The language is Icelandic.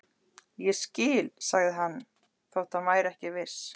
Ég skil sagði hann þótt hann væri ekki viss.